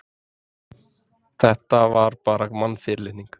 Þetta var bara mannfyrirlitning.